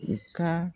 U ka